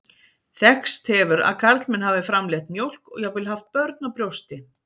Þekkst hefur að karlmenn hafi framleitt mjólk og jafnvel haft börn á brjósti.